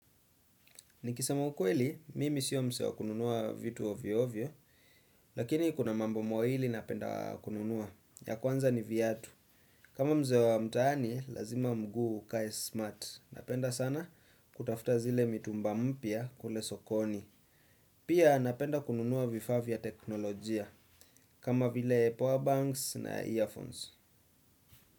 Nikisema ukweli, mimi sio msee wa kununua vitu ovyo ovyo, lakini kuna mambo mawili napenda kununua, ya kwanza ni viatu. Kama mzee wa mtaani, lazima mguu ukae smart, napenda sana kutafta zile mitumba mpya kule sokoni. Pia napenda kununua vifaa vya teknolojia, kama vile powerbanks na earphones.